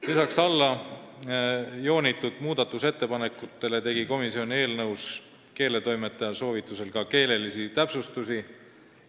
Lisaks allajoonitud muudatusettepanekutele tegi komisjon eelnõus keeletoimetaja soovitusel ka keelelisi täpsustusi.